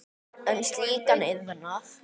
um slíkan iðnað.